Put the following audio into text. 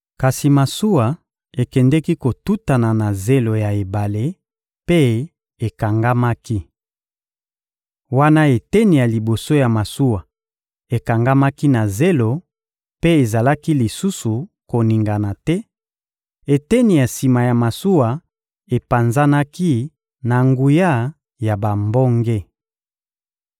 Kasi masuwa ekendeki kotutana na zelo ya ebale mpe ekangamaki. Wana eteni ya liboso ya masuwa ekangamaki na zelo mpe ezalaki lisusu koningana te, eteni ya sima ya masuwa epanzanaki na nguya ya bambonge.